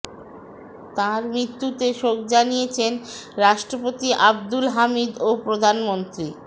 তার মৃত্যুতে শোক জানিয়েছেন রাষ্ট্রপতি আবদুল হামিদ ও প্রধানমন্ত্রী